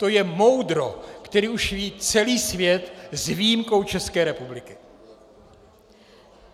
To je moudro, které už ví celý svět s výjimkou České republiky.